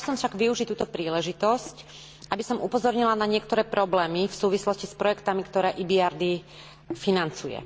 Chcela by som však využiť túto príležitosť, aby som upozornila na niektoré problémy v súvislosti s projektmi, ktoré financuje.